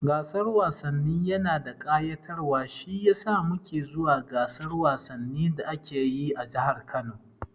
Gasan wasanni yana da kayatarwa shiyasa muke zuwa gasar wasannin da ake yi a jahar Kano